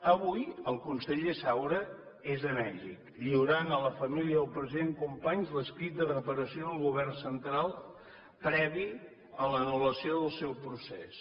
avui el conseller saura és a mèxic lliurant a la família del president companys l’escrit de reparació del govern central previ a l’anul·lació del seu procés